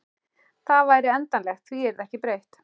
Það væri endanlegt, því yrði ekki breytt.